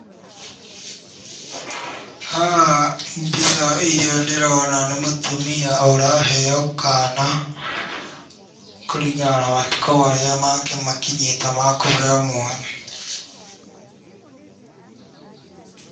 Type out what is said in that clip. Haha mbica ĩrĩa ndĩrona nĩ mũtumia ũraheyo kana kũringana na matukũ marĩa make makinyĩte makũheyo mwana.